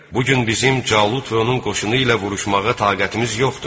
Bu gün bizim Calut və onun qoşunu ilə vuruşmağa taqətimiz yoxdur.